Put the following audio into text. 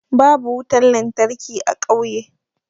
Babu wutan lantarki a ƙauye.